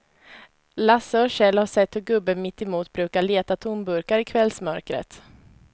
Lasse och Kjell har sett hur gubben mittemot brukar leta tomburkar i kvällsmörkret.